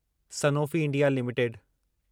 Sanofi India limited